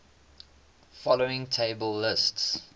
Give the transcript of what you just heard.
following table lists